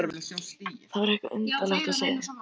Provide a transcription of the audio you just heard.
Það var eitthvað undarlegt á seyði.